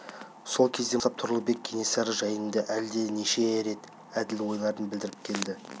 сол кезден бастап тұрлыбек кенесары жайында әлде неше рет әділ ойларын білдіріп келді